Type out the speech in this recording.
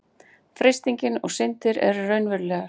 freistingin og syndin eru raunverulegar